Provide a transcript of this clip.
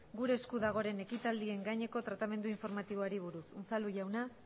gure esku dagoren ekitaldien gaineko tratamendu informatiboari buruz unzalu jauna